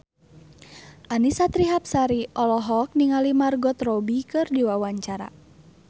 Annisa Trihapsari olohok ningali Margot Robbie keur diwawancara